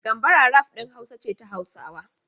Gambara rap ɗin Hausa ce ta Hausawa.